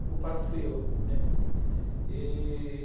O culpado fui eu, né. E...